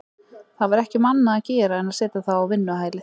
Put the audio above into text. Það var ekki um annað að gera en að setja þá á vinnuhælið.